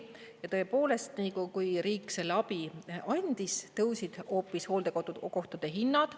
Ja tõepoolest, nii kui riik selle abi andis, tõusid hoopis hooldekodukohtade hinnad.